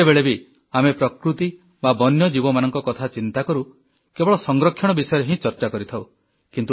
ଯେତେବେଳେ ବି ଆମେ ପ୍ରକୃତି ବା ବନ୍ୟଜୀବମାନଙ୍କ କଥା ଚିନ୍ତାକରୁ କେବଳ ସଂରକ୍ଷଣ ବିଷୟରେ ହିଁ ଚର୍ଚ୍ଚା କରିଥାଉ